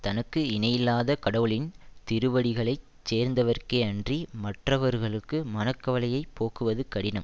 தனக்கு இணையில்லாத கடவுளின் திருவடிகளைச் சேர்ந்தவர்க்கே அன்றி மற்றவர்களுக்கு மனக்கவலையைப் போக்குவது கடினம்